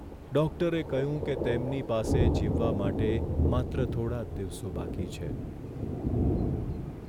ડૉક્ટરે કહ્યું કે તેમની પાસે જીવવા માટે માત્ર થોડા જ દિવસો બાકી છે.